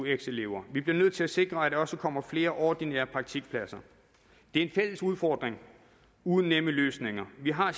eux elever vi bliver nødt til at sikre at der også kommer flere ordinære praktikpladser det er en fælles udfordring uden nemme løsninger vi har